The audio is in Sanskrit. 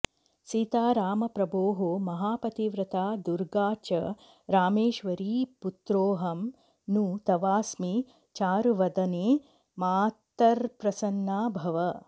सीता रामप्रभोः महापतिव्रता दुर्गा च रामेश्वरी पुत्रोऽहं नु तवास्मि चारुवदने मातर्प्रसन्ना भव